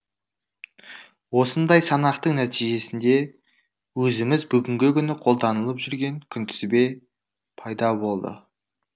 осындай санақтың нәтижесінде өзіміз бүгінгі күні қолданылып жүрген күнтізбе пайда болды